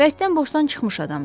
Bərkdən boşdan çıxmış adamdır.